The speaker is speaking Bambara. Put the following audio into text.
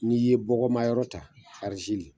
N'i ye bɔgɔma yɔrɔ ta